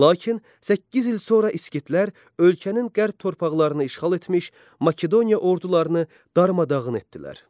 Lakin səkkiz il sonra İskitlər ölkənin qərb torpaqlarını işğal etmiş Makedoniya ordularını darmadağın etdilər.